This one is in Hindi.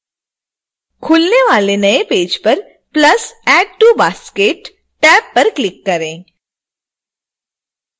खुलने वाले नए पेज पर plus add to basket tab पर क्लिक करें